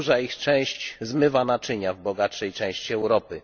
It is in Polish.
Duża ich część zmywa naczynia w bogatszej części Europy.